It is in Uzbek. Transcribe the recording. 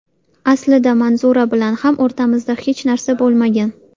Aslida Manzura bilan ham o‘rtamizda hech narsa bo‘lmagan.